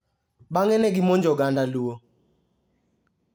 Bang'e ne gimonjo oganda Luo.